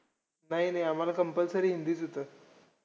नाही नाही. आम्हांला compulsory हिंदीचं होतं.